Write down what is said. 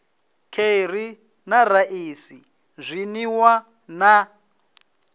kheri na raisi zwinwiwa na